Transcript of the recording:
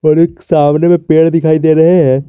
और एक सामने में पेड़ दिखाई दे रहे हैं।